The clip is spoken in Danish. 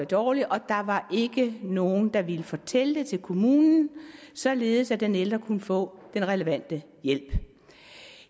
dårligere og der ikke nogen der ville fortælle det til kommunen således at den ældre kunne få den relevante hjælp